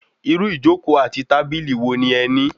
Irú ijoko àti tábìlì wo ni ẹ ní?